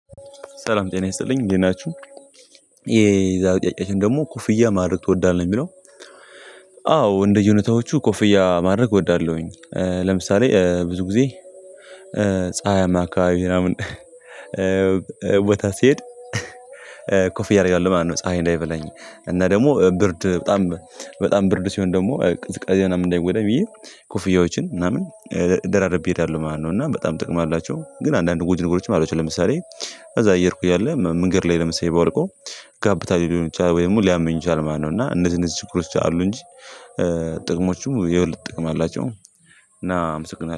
ሰላም ጤና ይስጥልኝ እንዴት ናችሁ። ይሄ የዛሬ ጥያቄችን ደግሞ ኮፍያ ማድረግ ትወዳለህ የሚለው? አዎ እንደየነታዎቹ ኮፍያ ማድረግ እወዳለሁኝ። ለምሳሌ ብዙ ጊዜ ፀሀይ አማካይ ምናምን ቦታ ሲሄድ ያደርጋል ማነው ፀሀይ እንዳይበለኝ እና ደግሞ ብርድ በጣም በጣም ብርድ ሲሆን ደግሞ ቀዝቃዛ ምናምን እንዳይወደው ብዬ ኮፍያዎችን ምናምን ደራረቤ እሄዳሉ ማለት ነው። እና በጣም ጥቅም አላቸው ግን አንዳንድ ጉድ ነገሮችን ማለት ነው። ለምሳሌ እዛ አየር እኮ ያለ ምንገር ላይ ለምሳሌ ባወልቀው ጋብታ ሊሆን ይችላል ወይም ሊያመኝ ይችላል ማለት ነው። እና እነዚህ እነዚህ ችግሮች አሉ እንጂ ጥቅሞቹ የውልት ጥቅም አላቸው። እና አምስት